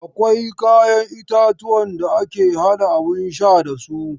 Akwai kayan itatuwan da ake haɗa abun sha da su.